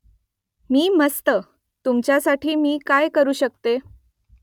मी मस्त . तुमच्यासाठी मी काय करू शकते ?